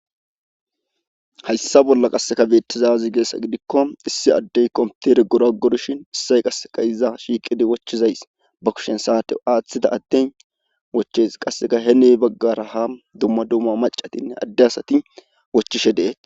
hayssa bolla qasseka beettizaazigeessa gidikko issi addey kompitere goragorshin issay qasseka iza shiiqidi wochizays ba kushen saate aaththida adden woches qasseka he ne baggaraha dumma dumma macatinne adde asati wochishe dee